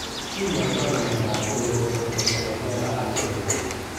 Kinyoito ano miondap olivopontocerebellar atrophy.